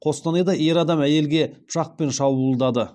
қостанайда ер адам әйелге пышақпен шабуылдады